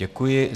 Děkuji.